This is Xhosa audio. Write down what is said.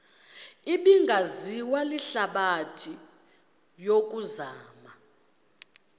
ebingaziwa lihlabathi yokuzama